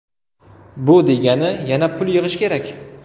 Bu degani yana pul yig‘ish kerak.